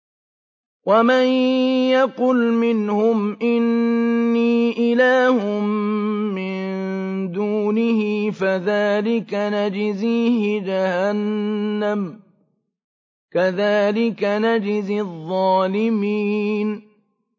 ۞ وَمَن يَقُلْ مِنْهُمْ إِنِّي إِلَٰهٌ مِّن دُونِهِ فَذَٰلِكَ نَجْزِيهِ جَهَنَّمَ ۚ كَذَٰلِكَ نَجْزِي الظَّالِمِينَ